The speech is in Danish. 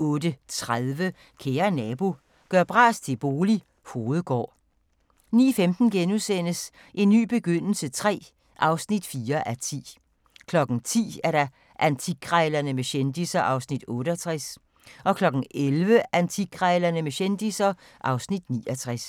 08:30: Kære nabo – gør bras til bolig – Hovedgård 09:15: En ny begyndelse III (4:10)* 10:00: Antikkrejlerne med kendisser (Afs. 68) 11:00: Antikkrejlerne med kendisser (Afs. 69)